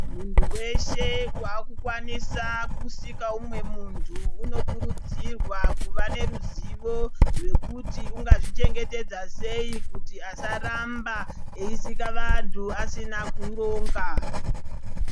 Munthu weshe waakukwanisa kusika umwe munthu, unokurudzirwa kuva neruzivo rwekuti ungazvichengetedza sei kuti asaramba ,eisika vantu aasina kuronga.